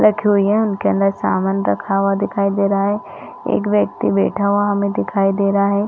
--रखी हुई है उनके अंदर सामान रखा हुआ दिखाई दे रहा है एक व्यक्ति बैठा हुआ हमें दिखाई दे रहा है।